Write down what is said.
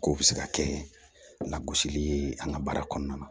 K'o bɛ se ka kɛ lagosili ye an ka baara kɔnɔna na